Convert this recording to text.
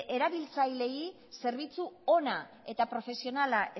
erabiltzaileei zerbitzu ona eta profesionala